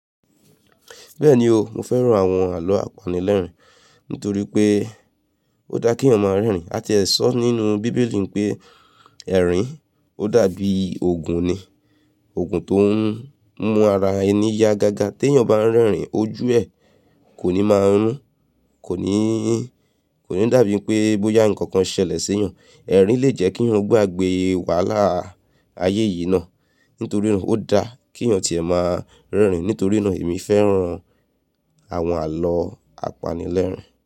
Bẹ́ẹ̀ni o, mo fẹ́ran àwọn àlọ́ àpanilẹ́rìn nítorí pé ó dá kí èèyàn máa rẹ́rìn. A ti ẹ sọ nínú bíbélì pé ẹ̀rín ó dàbí òògùn ni. Òògùn tó ń mú ara ẹni yá gagá. T'èèyàn bá ń rẹ́rìn, ojú ẹ kò ní máa rún, kò ní, kò ní dàbí pé bóyá nǹkan kan ṣẹlẹ̀ sí yan ẹ. Ẹ̀rín lè jẹ́ kí ń gbàgbé wàhálà ayé yìí ná. Nítorí náà ó dá kí èèyàn tí ẹ́ máa ń rẹ́rìn. Nítorí náà èmi fẹ́ran àwọn àlọ́ àpanilẹ́rìn.